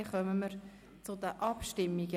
– Dann kommen wir zu den Abstimmungen.